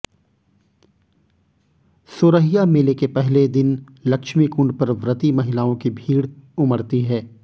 सोरहिया मेले के पहले दिन लक्ष्मी कुंड पर व्रती महिलाओं की भीड़ उमड़ती है